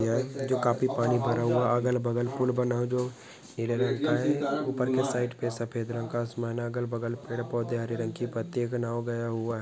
जो काफी पानी भरा हुआ अगल बगल फूल बना दो ऊपर के साइड पर सफेद रंग का आसमान अगल बगल पेड़ पौधे हरे रंग की पत्तियों का नाम गया हुआ है।